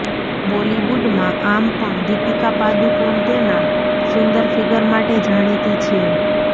બોલિવૂડમાં આમ પણ દીપિકા પાદુકોણ તેના સુંદર ફિગર માટે જાણીતી છે